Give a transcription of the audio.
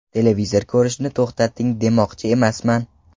Televizor ko‘rishni to‘xtating demoqchi emasman.